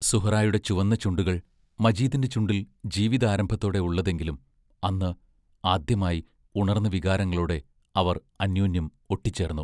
സുഹ്റായുടെ ചുവന്ന ചുണ്ടുകൾ മജീദിന്റെ ചുണ്ടിൽ ജീവിതാരംഭത്തോടെ ഉള്ളതെങ്കിലും അന്ന് ആദ്യമായി ഉണർന്ന വികാരങ്ങളോടെ അവർ അന്യോന്യം ഒട്ടിച്ചേർന്നു....